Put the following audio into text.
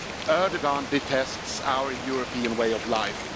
Erdoğan detests our European way of life.